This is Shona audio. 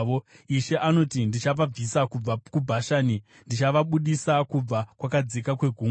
Ishe anoti, “Ndichavabvisa kubva kuBhashani; ndichavabudisa kubva kwakadzika kwegungwa,